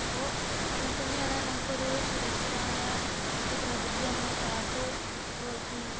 അപ്പോൾ അങ്ങനെ തന്നെയാണ് നമുക്കൊരു സുരക്ഷിതമായ ഒരു പ്രകൃതി അമ്മയെ കാത്തു